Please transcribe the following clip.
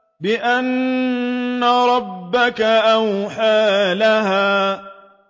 بِأَنَّ رَبَّكَ أَوْحَىٰ لَهَا